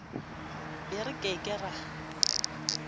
be re ke ke ra